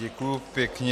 Děkuji pěkně.